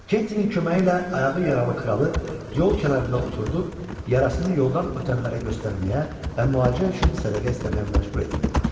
Kentinin köməyi ilə ayağı yaralı kralı yol kənarında oturdub yarasını yoldan ötənlərə göstərməyə və müalicə üçün sədəqə istəməyə məcbur etmək olar.